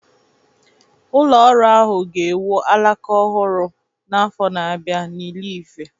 Ụlọ ọrụ ahụ ga-ewu alaka ọhụrụ n'afọ na-abịa n'Ile-Ife